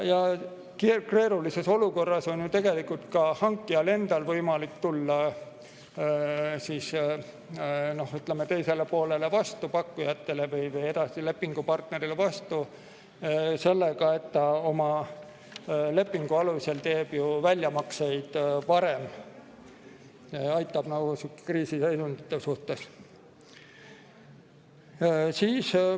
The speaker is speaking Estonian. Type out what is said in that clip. Keerulises olukorras on ju tegelikult ka hankijal endal võimalik tulla teisele poolele, pakkujatele või edasilepingupartnerile, vastu sellega, et ta oma lepingu alusel teeb väljamakseid varem, aitab sihukeste kriisiseisundite korral.